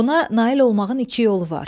Buna nail olmağın iki yolu var.